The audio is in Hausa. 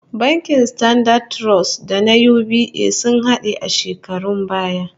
Bankin Standard Trust da na UBA sun hade a shekarun baya